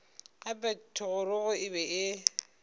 gape thogorogo e be e